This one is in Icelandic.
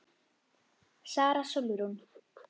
Sara Sólrún.